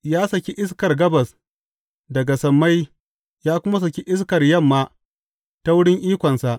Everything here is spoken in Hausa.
Ya saki iskar gabas daga sammai ya kuma saki iskar yamma ta wurin ikonsa.